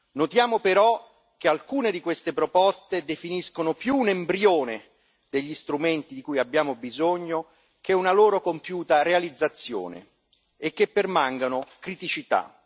Notiamo però che alcune di queste proposte definiscono più un embrione degli strumenti di cui abbiamo bisogno che una loro compiuta realizzazione e che permangano criticità.